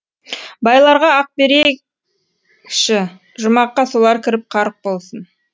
байларға ақ берсейші жұмаққа солар кіріп қарық болсын